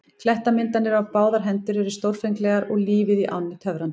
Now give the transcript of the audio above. Klettamyndanir á báðar hendur voru stórfenglegar og lífið í ánni töfrandi.